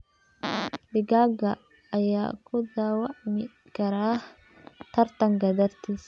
Digaag ayaa ku dhaawacmi kara tartanka dartiis.